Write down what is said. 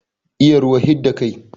Iya ruwa hidda kai